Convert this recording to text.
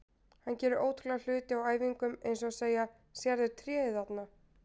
Hann gerir ótrúlega hluti á æfingum eins og að segja: Sérðu tréð þarna?